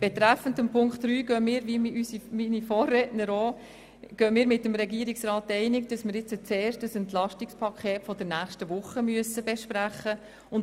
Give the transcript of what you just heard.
Betreffend Punkt 3 gehen wir wie unsere Vorredner mit dem Regierungsrat einig, dass wir zuerst das Entlastungspaket von nächster Woche besprechen müssen.